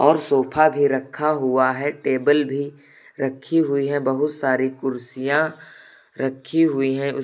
और सोफा भी रखा हुआ है टेबल भी रखी हुई हैं बहुत सारी कुर्सियां रखी हुई हैं।